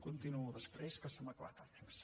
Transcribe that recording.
continuo després que se m’ha acabat el temps